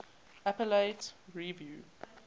appellate review